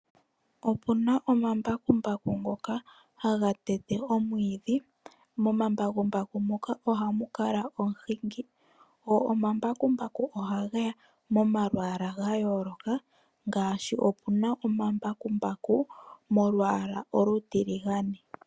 Opu na omambakumbaku ngoka haga tete omwiidhi. Momambakumbaku moka ohamu kala omuhingi , go omambakumbaku ohage ya momalwaala ga yooloka ngaashi opu na omambakumbaku molwaala olutiligane.